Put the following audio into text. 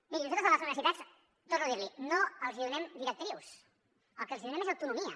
miri nosaltres a les universitats torno a dir l’hi no els donem directrius el que els donem és autonomia